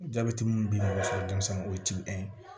Jabɛti mun bi sɔrɔ denmisɛnninw o ye ye